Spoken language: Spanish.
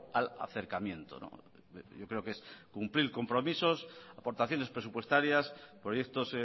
al acercamiento yo creo que es cumplir compromisos aportaciones presupuestarias proyectos